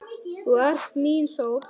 Þú ert mín sól.